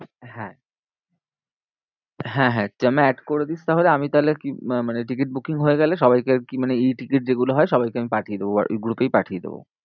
হ্যাঁ হ্যাঁ, হ্যাঁ তুই আমায় add করে দিস তাহলে, আমি তাহলে আহ মানে ticket booking হয়ে গেলে সবাইকে আর কি মানে e-ticket যেগুলো হয়, সবাইকে আমি পাঠিয়ে শোবো, আর এই group এই পাঠিয়ে দেবো।